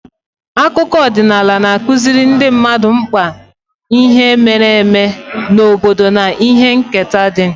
Akụkọ ọdịnala na-akụziri ndị mmadụ mkpa ihe mere eme n'obodo na ihe nketa dị